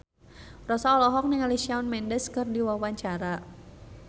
Rossa olohok ningali Shawn Mendes keur diwawancara